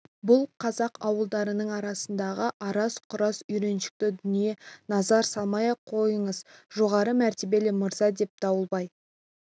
бұл қазақ ауылдарының арасындағы араз-құраз үйреншікті дүние назар салмай-ақ қойыңыз жоғары мәртебелі мырза деп дауылбай шегір көзінің ашуын